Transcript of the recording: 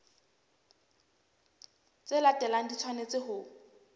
tse latelang di tshwanetse ho